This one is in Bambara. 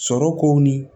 Sɔrɔ kow ni